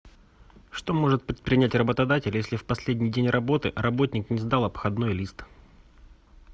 что может предпринять работодатель если в последний день работы работник не сдал обходной лист